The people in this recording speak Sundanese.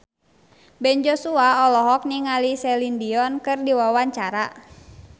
Ben Joshua olohok ningali Celine Dion keur diwawancara